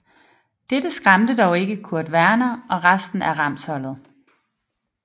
Dette skræmte dog ikke Kurt Warner og resten af Rams holdet